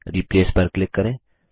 replace पर click करें